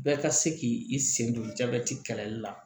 Bɛɛ ka se k'i sen don jabɛti kɛlɛli la